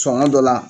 Sɔngɔ dɔ la